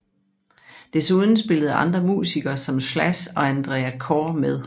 Desuden spillede andre musikere som Slash og Andrea Corr med